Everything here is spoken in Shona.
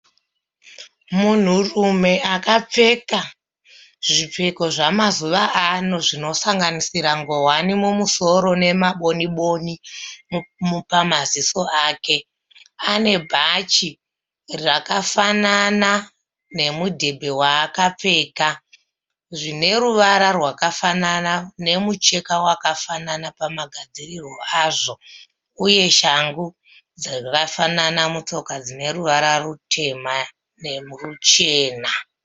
Munhurume akapfeka zvipfeko zvamazuva ano zvinosanganganisira nguwani mumusoro nemaboni boni pamaziso ake. Ane bhachi rakafanana nemudhebhe waakapfeka zvine ruvara rwakafanana nemucheka wakafanana pamagadzirirwo azvo uye neshangu dzakafanana mutsoka dzine ruvara rutema neruchena.